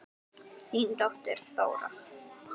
Þín dóttir, Þóra.